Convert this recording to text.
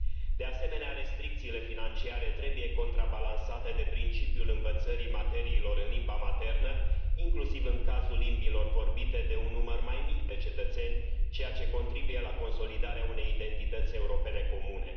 De asemenea, restricțiile financiare trebuie contrabalansate de principiul învățării materiilor în limba maternă, inclusiv în cazul limbilor vorbite de un număr mai mic de cetățeni, ceea ce contribuie la consolidarea unei identități europene comune.